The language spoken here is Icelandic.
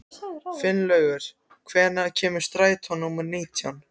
Finnlaugur, hvenær kemur strætó númer nítján?